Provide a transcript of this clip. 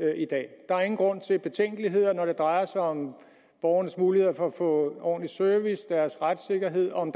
have i dag der er ingen grund til betænkeligheder når det drejer sig om borgernes muligheder for at få ordentlig service om deres retssikkerhed om